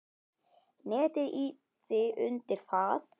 Netið ýti undir það.